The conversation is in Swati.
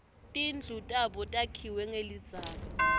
tindlu tabo takhiwe nqelidzaka